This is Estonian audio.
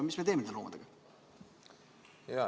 Mis me teeme nende loomadega?